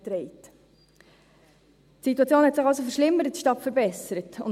Die Situation verschlimmerte sich also, statt sich zu verbessern.